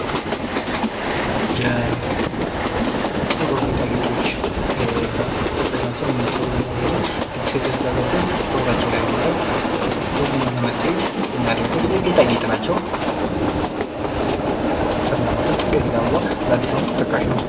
...የፀጉር ጌጣጌጦች ተጠቃሽ ናቸው፤ አነዚህ የፀጉር ጌጣጌጦች ሴቶች ልጃገረዶች ፀጉራቸው ላይ በማድረግ ዉብ ሁኖ ለመታየት የሚያደርጉት የጌጣጌጥ ናቸው። ከእነዚያም መካከል ፅጌሬዳ አበባ ለአድስ አመት ተጠቃሽ ነው።